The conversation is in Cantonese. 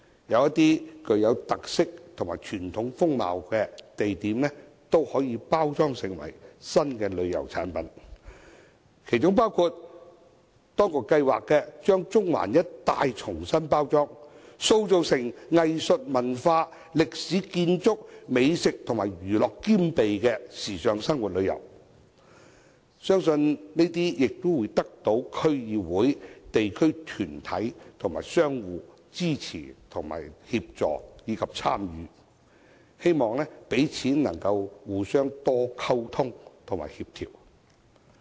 有些具有特色和傳統風貌的地點，也可以把它們包裝成一些新的旅遊產品，其中包括當局計劃將中環一帶重新包裝，塑造成集藝術、文化、歷史建築、美食和娛樂兼備的時尚生活遊，相信可得到區議會、地區團體和商戶等的支持、協助和參與，也希望彼此能夠多加溝通和協調。